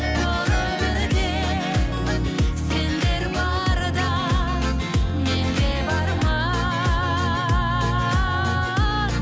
бұл өмірде сендер барда мен де бармын